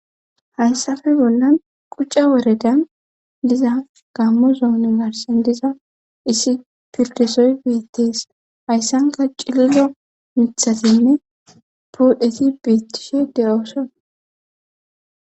hayssafe bollan qucca woredan diza gammo zoone garsen diza issi pirdesoy beettees hayssanka cililo mithatinne pooqeti beettishe de7oosona.